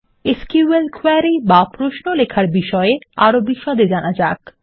SQL query বা প্রশ্ন লেখার বিষয়ে আরও বিশদে জানা যাক